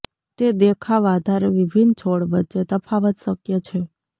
તે દેખાવ આધારે વિભિન્ન છોડ વચ્ચે તફાવત શક્ય છે